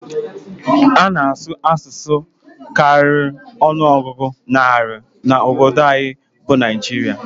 A na-asụ asụsụ karịrị ọnụọgụ narị na obodo anyị bụ Naịjirịa.